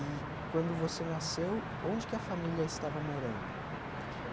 E, quando você nasceu, onde que a família estava morando?